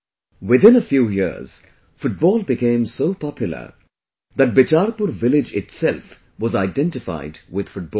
Within a few years, football became so popular that Bicharpur village itself was identified with football